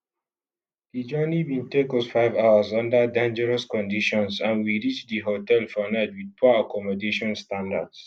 di journey bin take us five hours under dangerous conditions and we reach di hotel for night with poor accommodation standards